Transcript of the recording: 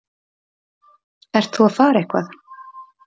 Ert þú að fara eitthvað?